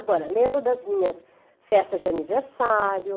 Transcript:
Agora, lembro das minhas festas de aniversário.